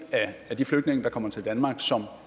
af de flygtninge der kommer til danmark som